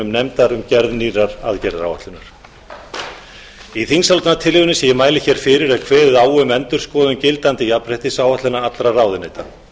nefndar um gerð nýrrar aðgerðaráætlunar í þingsályktunartillögunni sem ég mæli fyrir er kveðið á um endurskoðun gildandi jafnréttisáætlunar allra ráðuneyta